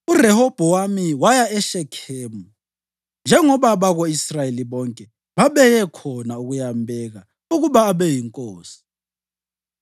URehobhowami waya eShekhemu, njengoba abako-Israyeli bonke babeye khona ukuyambeka ukuba abe yinkosi.